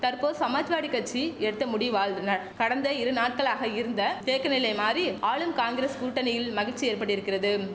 தற்போ சமாஜ்வாடி கச்சி எடுத்த முடிவால் துந கடந்த இருநாட்களாக இருந்த தேக்கநிலை மாறி ஆளும் காங்கிரஸ் கூட்டணியில் மகிழ்ச்சி ஏற்பட்டிருக்கிறதும்